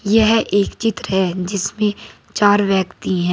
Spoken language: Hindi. यह एक चित्र है जिसमें चार व्यक्ति हैं।